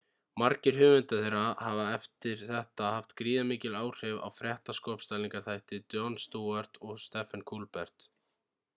margir höfunda þeirra hafa eftir þetta haft gríðarmikil áhrif á fréttaskopstælingarþætti jon stewart og stephen colbert